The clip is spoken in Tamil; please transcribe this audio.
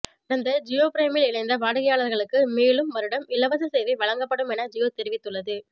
கடந்த ஜியோ பிரைமில் இணைந்த வாடிக்கையாளர்களுக்கு மேலும் வருடம் இலவச சேவை வழங்கப்படும் என ஜியோ தெரிவித்துள்ளது